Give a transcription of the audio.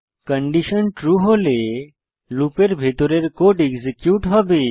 condition true হলে লুপের ভিতরের কোড এক্সিকিউট হবে